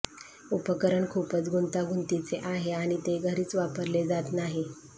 उपकरण खूपच गुंतागुंतीचे आहे आणि ते घरीच वापरले जात नाही